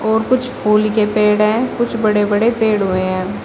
और कुछ फूल के पेड़ हैं कुछ बड़े-बड़े पेड़ हुए हैं।